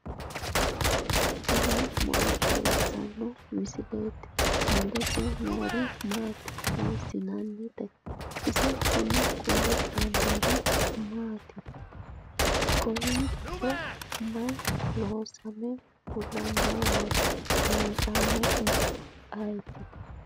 tini maa xawissanno misileeti ? mulese noori maati ? hiissinannite ise ? tini kultannori mattiya? Kawiichchi mayi loosamme fulannowatti? loosanohu ayiitti?